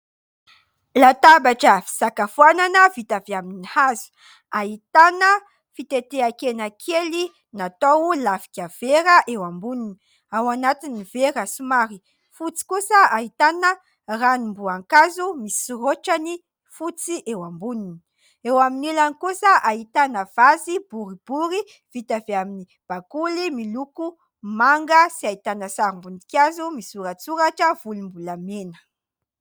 Latabatra fisakafoanana, vita avy amin'ny hazo. Ahitana fiteteha-kena kely, natao lafika vera eo amboniny. Ao anatin'ny vera somary fotsy kosa, ahitana ranom-boankazo misy rôtrany fotsy eo amboniny. Eo amin'ny ilany kosa ahitana vazy boribory, vita avy amin'ny bakoly, miloko manga, sy ahitana sarim-boninkazo misoratsoratra volombolamena.